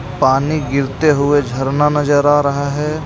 पानी गिरते हुए झरना नजर आ रहा है.